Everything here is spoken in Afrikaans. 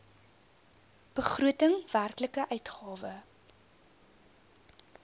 begroting werklike uitgawe